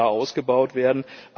Das muss klar ausgebaut werden.